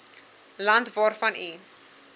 land waarvan u